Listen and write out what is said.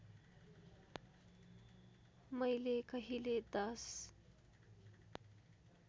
मैले कहिले १०